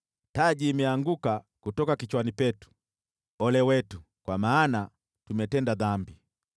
Taji imeanguka kutoka kichwani petu. Ole wetu, kwa maana tumetenda dhambi!